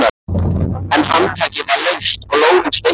En handtakið var laust og lófinn sveittur.